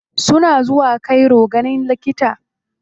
Suna zuwa cairo ganin likita.